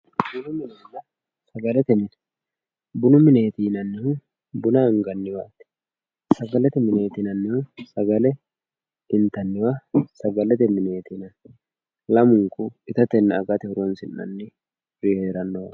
Bunu minenna sagalete mine ,bunu mine yinannihu buna anganniwa ,sagalete mine yinannihu sagale intanniwa sagalete mineti yinanni lamunku ittatenna agate horonsi'nanniwi heeranowati.